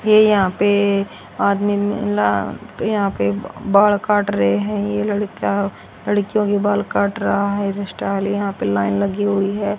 ये यहां पे आदमी मिला यहां पे बाल काट रहे हैं ये लड़का लड़कियों के बाल काट रहा है हेयर स्टाइल यहां पे लाइन लगी हुई है।